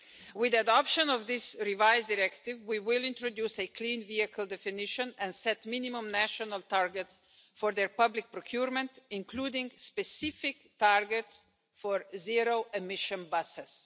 With the adoption of this revised directive we will introduce a clean vehicle definition and set minimum national targets for their public procurement, including specific targets for zero emission buses.